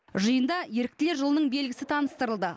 жиында еріктілер жылының белгісі таныстырылды